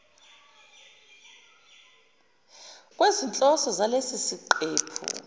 kwezinhloso zalesi siqephu